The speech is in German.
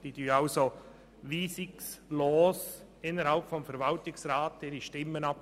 Sie geben ihre Stimmen innerhalb des Verwaltungsrats also weisungslos ab.